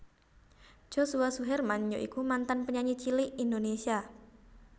Joshua Suherman ya iku mantan penyanyi cilik Indonésia